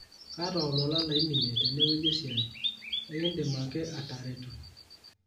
kaata olola laiminie tenewueji esia ,ekidim ake atareto